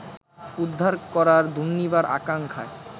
উদ্ধার করার দুনির্বার আকাঙ্ক্ষায়